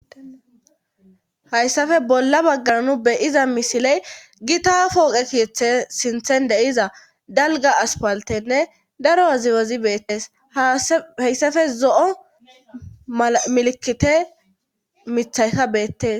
hayssafe bolla baggananu beyiza misiley gita fooqe kiyethe sinthen deiza dalga aspaltenne daro aziwazi beettees hayssafe zo7o milikite mithayka beettes